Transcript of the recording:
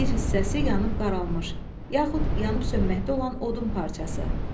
Bir hissəsi yanıb qaralmış, yaxud yanıb sönməkdə olan odun parçası.